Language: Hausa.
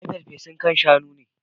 I ci farfesun kain Shaun ne.